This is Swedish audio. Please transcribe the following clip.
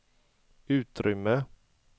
utrymme